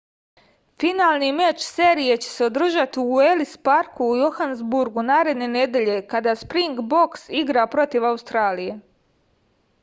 finalni meč serije će se održati u elis parku u johanesburgu naredne nedelje kada springboks igra protiv australije